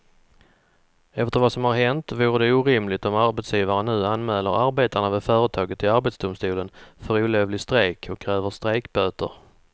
Efter vad som har hänt vore det orimligt om arbetsgivaren nu anmäler arbetarna vid företaget till arbetsdomstolen för olovlig strejk och kräver strejkböter.